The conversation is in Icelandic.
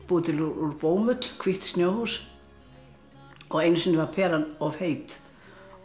til úr bómull hvítt snjóhús einu sinni var peran of heit og